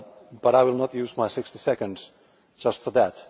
But I will not use my sixty seconds just for that.